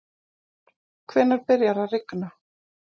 hvenær byrjar að rigna